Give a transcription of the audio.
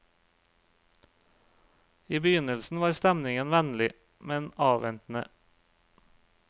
I begynnelsen var stemningen vennlig, men avventende.